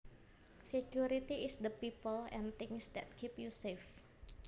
Security is the people and things that keep you safe